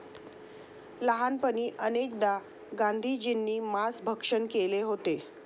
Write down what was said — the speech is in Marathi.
लहानपणी अनेकदा गांधीजींनी मांस भक्षण केले होते.